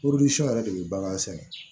yɛrɛ de bi bagan sɛnɛ